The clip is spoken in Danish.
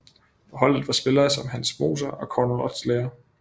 På holdet var spillere som Hans Moser og Cornel Oțelea